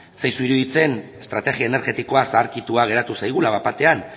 ez zaizu iruditzen estrategia energetikoa zaharkitua geratu zaigula bat batean